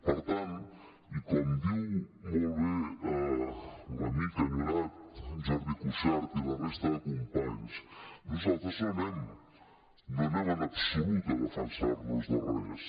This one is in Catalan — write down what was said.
per tant i com diu molt bé l’amic enyorat jordi cuixart i la resta de companys nosaltres no anem en absolut a defensar nos de res